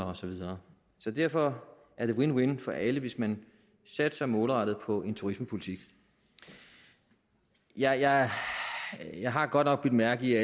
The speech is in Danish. og så videre så derfor er det win win for alle hvis man satser målrettet på en turismepolitik jeg jeg har godt nok bemærket